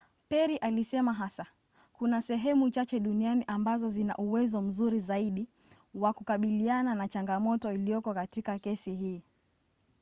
perry alisema hasa kuna sehemu chache duniani ambazo zina uwezo mzuri zaidi wa kukabiliana na changamoto iliyoko katika kesi hii.